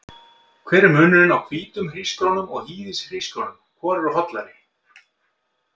Hver er munurinn á hvítum hrísgrjónum og hýðishrísgrjónum, hvor eru hollari?